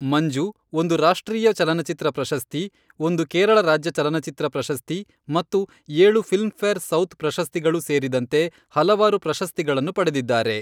ಮಂಜು, ಒಂದು ರಾಷ್ಟ್ರೀಯ ಚಲನಚಿತ್ರ ಪ್ರಶಸ್ತಿ, ಒಂದು ಕೇರಳ ರಾಜ್ಯ ಚಲನಚಿತ್ರ ಪ್ರಶಸ್ತಿ ಮತ್ತು ಏಳು ಫಿಲ್ಮ್ಫೇರ್ ಸೌತ್ ಪ್ರಶಸ್ತಿಗಳು ಸೇರಿದಂತೆ ಹಲವಾರು ಪ್ರಶಸ್ತಿಗಳನ್ನು ಪಡೆದಿದ್ದಾರೆ.